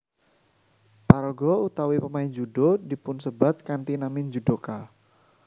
Paraga utawi pemain judo dipunsebat kanthi nami judoka